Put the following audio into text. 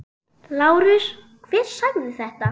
LÁRUS: Hver sagði þetta?